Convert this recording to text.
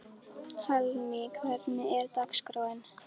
Hallný, hvernig er dagskráin?